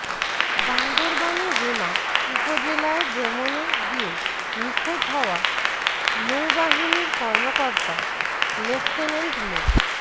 বান্দরবানের রুমা উপজেলায় ভ্রমণে গিয়ে নিখোঁজ হওয়া নৌবাহিনীর কর্মকর্তা লেফটেন্যান্ট মো